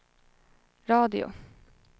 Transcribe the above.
radio